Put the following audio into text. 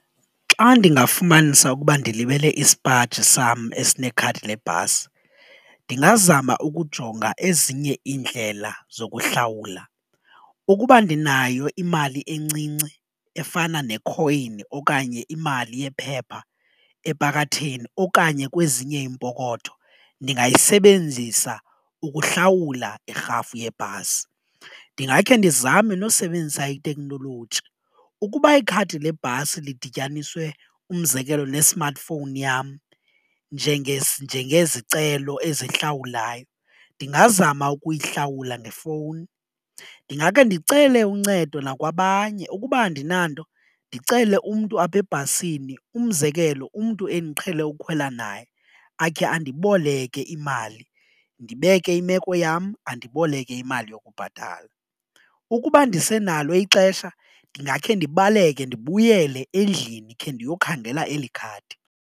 Xa ndingafumanisa ukuba ndilibele isipaji sam esinekhadi lebhasi ndingazama ukujonga ezinye iindlela zokuhlawula, ukuba ndinayo imali encinci efana nekhoyini okanye imali yephepha epakatheni okanye kwezinye iimpokotho ndingayisebenzisa ukuhlawula irhafu yebhasi. Ndingakhe ndizame nokusebenzisa itekhnoloji ukuba ikhadi lebhasi lidityaniswe umzekelo ne-smartphone yam njengezicelo ezihlawulayo ndingazama ukuyihlawula ngefowuni, ndingakhe ndicele uncedo nakwabanye ukuba andinanto ndicele umntu apha ebhasini umzekelo umntu endiqhele ukukhwela naye akhe andiboleke imali ndibeke imeko yam andiboleke imali yokubhatala. Ukuba ndisenalo ixesha ndingakhe ndibaleke ndibuyele endlini khe ndiyokhangela eli khadi.